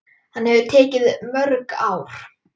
Hann hefur tekið mörg ár.